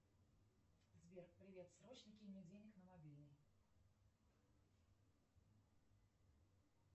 сбер привет срочно кинь мне денег на мобильный